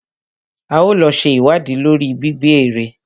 A ó lọ ṣe ìwádìí lórí gbígbẹ́ èrè.